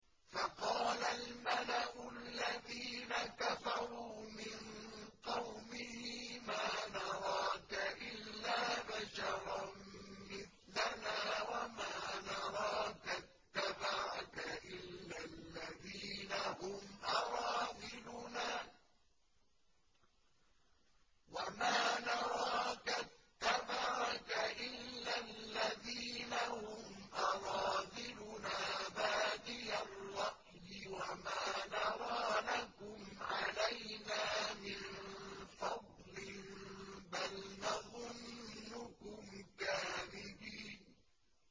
فَقَالَ الْمَلَأُ الَّذِينَ كَفَرُوا مِن قَوْمِهِ مَا نَرَاكَ إِلَّا بَشَرًا مِّثْلَنَا وَمَا نَرَاكَ اتَّبَعَكَ إِلَّا الَّذِينَ هُمْ أَرَاذِلُنَا بَادِيَ الرَّأْيِ وَمَا نَرَىٰ لَكُمْ عَلَيْنَا مِن فَضْلٍ بَلْ نَظُنُّكُمْ كَاذِبِينَ